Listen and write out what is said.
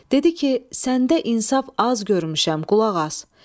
Dedi ki, səndə insaf az görmüşəm, qulaq as.